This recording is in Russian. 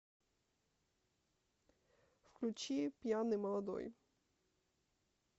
включи пьяный молодой